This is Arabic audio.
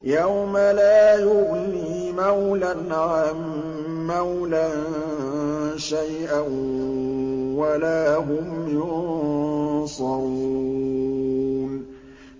يَوْمَ لَا يُغْنِي مَوْلًى عَن مَّوْلًى شَيْئًا وَلَا هُمْ يُنصَرُونَ